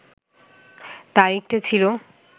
তারিখটা ছিল